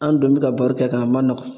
An dun bɛ ka baro kɛ kan a ma nɔgɔn.